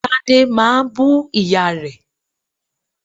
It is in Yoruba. Tade máa bú ìyá rẹ̀